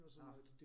Nåh